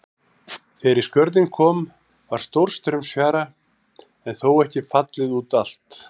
Þegar í Skörðin kom var stórstraumsfjara en þó ekki fallið út allt.